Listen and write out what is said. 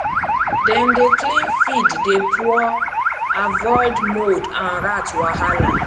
dem dey clean feed dey pour avoid mould and rat wahala